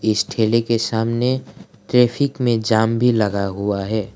इस ठेले के सामने ट्रैफिक में जाम भी लगा हुआ है।